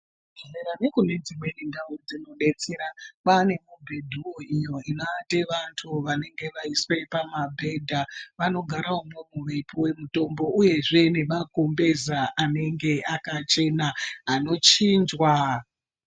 Zvibhedhlera ne kudzimweni ndau dzi detsera kwava nemubhedhu wo iyo inoate vantu vanenge vaiswa pamabhedha vanogara imwomwo veipiwe mutombo uyezve nemagumbeza anenge akachena anochinjwa.